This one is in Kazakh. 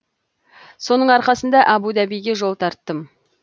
соның арқасында әбу дабиге жол тарттым